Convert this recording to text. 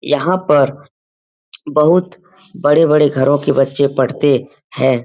यहाँ पर बहुत बड़े-बड़े घरों बच्चे पढ़ते हैं।